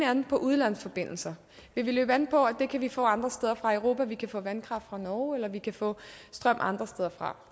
an på udenlandske forbindelser vil vi løbe an på at det kan vi få andre steder fra i europa at vi kan få vandkraft fra norge eller at vi kan få strøm andre steder fra